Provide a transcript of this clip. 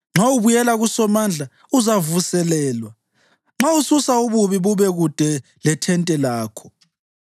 Nxa ubuyela kuSomandla, uzavuselelwa; nxa ususa ububi bube kude lethente lakho